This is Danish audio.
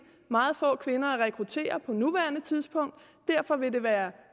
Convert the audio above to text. meget få kvinder at rekruttere på nuværende tidspunkt derfor vil det være